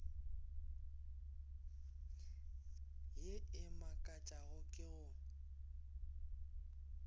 ye e makatšago ke go